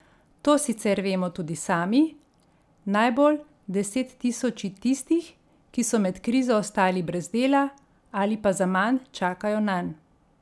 To sicer vemo tudi sami, najbolj desettisoči tistih, ki so med krizo ostali brez dela, ali pa zaman čakajo nanj.